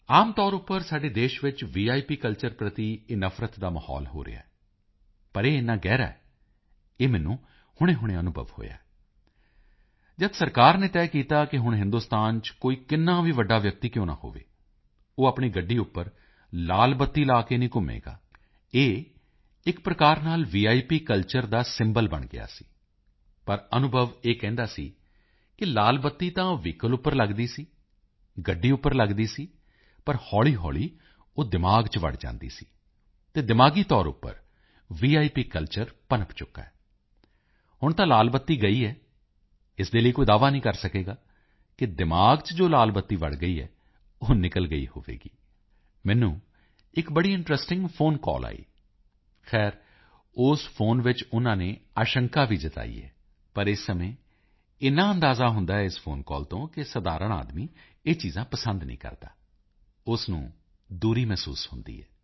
ਆਮ ਤੌਰ ਉੱਪਰ ਸਾਡੇ ਦੇਸ਼ ਵਿੱਚ ਵਿਪ ਕਲਚਰ ਪ੍ਰਤੀ ਇਹ ਨਫਰਤ ਦਾ ਮਾਹੌਲ ਹੈ ਪਰ ਇਹ ਏਨਾ ਗਹਿਰਾ ਹੈ ਇਹ ਮੈਨੂੰ ਹੁਣੇਹੁਣੇ ਅਨੁਭਵ ਹੋਇਆ ਹੈ ਜਦ ਸਰਕਾਰ ਨੇ ਤੈਅ ਕੀਤਾ ਕਿ ਹੁਣ ਹਿੰਦੁਸਤਾਨ ਚ ਕੋਈ ਕਿੰਨਾ ਵੀ ਵੱਡਾ ਵਿਅਕਤੀ ਕਿਉਂ ਨਾ ਹੋਵੇ ਉਹ ਆਪਣੀ ਗੱਡੀ ਉੱਪਰ ਲਾਲ ਬੱਤੀ ਲਾ ਕੇ ਨਹੀਂ ਘੁੰਮੇਗਾ ਇਹ ਇਕ ਪ੍ਰਕਾਰ ਨਾਲ ਵਿਪ ਕਲਚਰ ਦਾ ਸਿੰਬਲ ਬਣ ਗਿਆ ਸੀ ਪਰ ਅਨੁਭਵ ਇਹ ਕਹਿੰਦਾ ਸੀ ਕਿ ਲਾਲ ਬੱਤੀ ਤਾਂ ਵਹੀਕਲ ਉੱਪਰ ਲੱਗਦੀ ਸੀ ਗੱਡੀ ਉੱਪਰ ਲੱਗਦੀ ਸੀ ਪਰ ਹੌਲੀਹੌਲੀ ਉਹ ਦਿਮਾਗ ਚ ਵੜ ਜਾਂਦੀ ਸੀ ਅਤੇ ਦਿਮਾਗੀ ਤੌਰ ਉੱਪਰ ਵਿਪ ਕਲਚਰ ਪਨਪ ਚੁੱਕਾ ਹੈ ਹੁਣ ਤਾਂ ਲਾਲ ਬੱਤੀ ਗਈ ਹੈ ਇਸ ਦੇ ਲਈ ਕੋਈ ਦਾਅਵਾ ਨਹੀਂ ਕਰ ਸਕੇਗਾ ਕਿ ਦਿਮਾਗ ਚ ਜੋ ਲਾਲ ਬੱਤੀ ਵੜ ਗਈ ਹੈ ਉਹ ਨਿਕਲ ਗਈ ਹੋਵੇਗੀ ਮੈਨੂੰ ਇਕ ਬੜੀ ਇੰਟਰੈਸਟਿੰਗ ਫੋਨ ਕਾਲ ਆਈ ਖ਼ੈਰ ਉਸ ਫੋਨ ਵਿੱਚ ਉਨਾਂ ਨੇ ਆਸ਼ੰਕਾ ਵੀ ਜਤਾਈ ਹੈ ਪਰ ਇਸ ਸਮੇਂ ਏਨਾ ਅੰਦਾਜ਼ਾ ਹੁੰਦਾ ਹੈ ਇਸ ਫੋਨ ਕਾਲ ਤੋਂ ਕਿ ਸਧਾਰਣ ਆਦਮੀ ਇਹ ਚੀਜ਼ਾਂ ਪਸੰਦ ਨਹੀਂ ਕਰਦਾ ਉਸ ਨੂੰ ਦੂਰੀ ਮਹਿਸੂਸ ਹੁੰਦੀ ਹੈ